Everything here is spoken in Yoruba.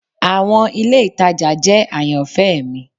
Awọn ile itaja jẹ ayanfẹ mi